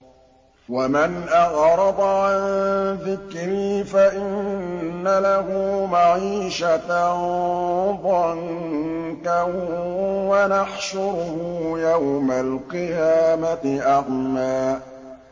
وَمَنْ أَعْرَضَ عَن ذِكْرِي فَإِنَّ لَهُ مَعِيشَةً ضَنكًا وَنَحْشُرُهُ يَوْمَ الْقِيَامَةِ أَعْمَىٰ